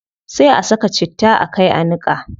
Sai a ka saka citta a kai niqa